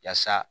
Yaasa